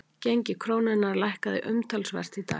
Gengi krónunnar lækkaði umtalsvert í dag